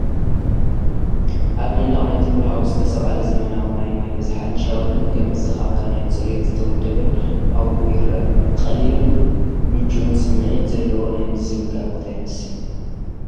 ኣብ መንደቕ ናይቲ ፑል ሃውስ ዝተሰቕለ ዘመናዊ ናይ ማይ መዝሓሊን ሻወርን ከም መዘኻኸሪ ናይቲ ጽሩይን ዝተወደበን ሃዋህው ይረአ። ቀሊልን ምቹእን ስምዒት ዘለዎ ናይ ምዝንጋዕ ቦታ ይመስል።